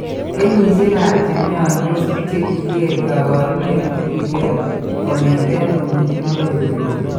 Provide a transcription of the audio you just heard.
Kenyisiekap che mnyandos che kiker kaabarunet ko kiter kong'eten ko miing'in akoi koet.